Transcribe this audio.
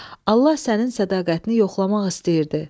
Allah sənin sədaqətini yoxlamaq istəyirdi.